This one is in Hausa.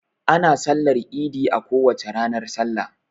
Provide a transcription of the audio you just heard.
Ana sallar idi a kowace ranar salla.